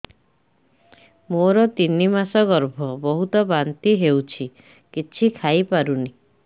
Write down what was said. ମୋର ତିନି ମାସ ଗର୍ଭ ବହୁତ ବାନ୍ତି ହେଉଛି କିଛି ଖାଇ ପାରୁନି